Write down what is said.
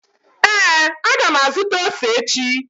Ee, a ga m azụta ose echi